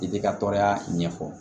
I bɛ ka tɔɔrɔya ɲɛfɔ